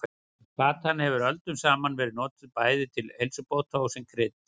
Plantan hefur öldum saman verið notuð bæði til heilsubóta og sem krydd.